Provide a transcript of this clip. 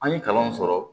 An ye kalanw sɔrɔ